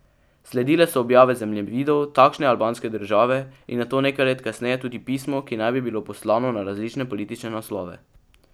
Sledile so objave zemljevidov takšne albanske države in nato nekaj let kasneje tudi pismo, ki naj bi bilo poslano na različne politične naslove.